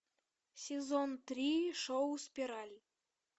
сезон три шоу спираль